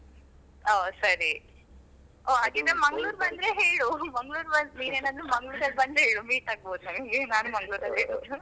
ಒಹ್ ಸರಿ ಒಹ್ ಹಾಗಿದ್ರೆ ಮಂಗಳೂರ್ ಬಂದ್ರೆ ಹೇಳು ಮಂಗಳೂರ್ ನೀನೇನಾದ್ರು ಮಂಗಳೂರ್ ಬಂದ್ರೆ ಹೇಳು meet ಆಗಬಹುದು ಹಂಗೆ ನಾನು ಮಂಗಳೂರಲೇ ಇರುದು .